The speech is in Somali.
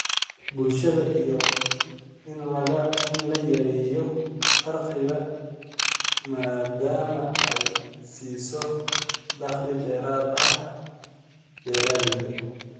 bulshada iyo in la yareeyo faqriga, maadaama ay siiso dakhli dheeraad ah beeralayda.